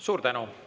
Suur tänu!